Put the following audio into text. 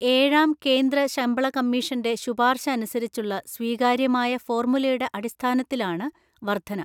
ഏഴാം കേന്ദ്ര ശമ്പള കമ്മീഷന്റെ ശുപാര്ശഅനുസരിച്ചുള്ള സ്വീകാര്യമായ ഫോര്മുലയുടെ അടിസ്ഥാനത്തിലാണ് വര്ദ്ധന.